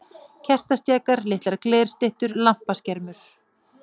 Kertastjakar, litlar glerstyttur, lampaskermur.